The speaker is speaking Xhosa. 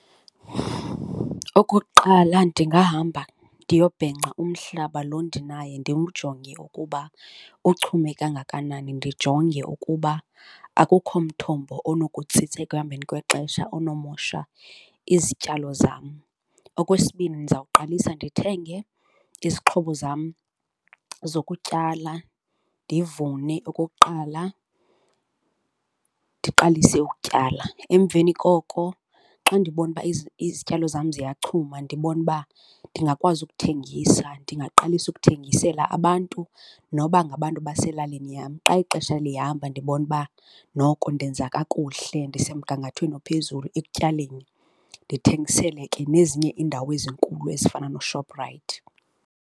Okokuqala, ndingahamba ndiyobhenca umhlaba lo ndinaye ndiwujonge ukuba uchume kangakanani, ndijonge ukuba akukho mthombo onokutsitsa ekuhambeni kwexesha onomosha izityalo zam. Okwesibini, ndizawuqalisa ndithenge izixhobo zam zokutyala ndivune. Okokuqala ndiqalise ukutyala, emveni koko xa ndibona uba izityalo zam ziyachuma, ndibona uba ndingakwazi ukuthengisa, ndingaqalisa ukuthengisela abantu noba ngabantu baselalini yam. Xa ixesha lihamba ndibona uba noko ndenza kakuhle, ndisemgangathweni ophezulu ekutyaleni, ndithengisele ke nezinye iindawo ezinkulu ezifana nooShoprite.